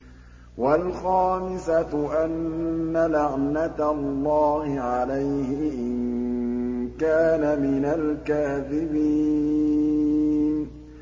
وَالْخَامِسَةُ أَنَّ لَعْنَتَ اللَّهِ عَلَيْهِ إِن كَانَ مِنَ الْكَاذِبِينَ